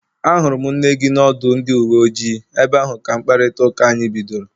Ahụrụ m nne gị n'ọdụ ndị uwe ojii, ebe ahụ ka mkparịta ụka anyị bidoro